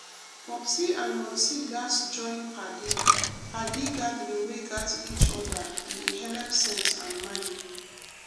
popsi and momsi gatz join padi padi gathering wey gat each other e dey helep sense and mind.